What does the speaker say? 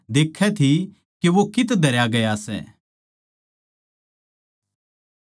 मरियम मगदलीनी अर योसेस की माँ मरियम देक्खै थी के वो कित्त धरया गया सै